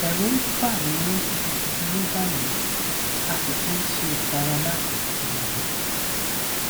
ẹrù ń bà mí gidigidi ní báyìí a sì ti ń ṣe ìtara láti bí ọmọ